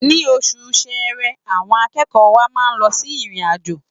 Ní oṣù Ṣẹẹrẹ, àwọn akẹ́kọ̀ọ́ wa máa lọ sí ìrìn-àjò.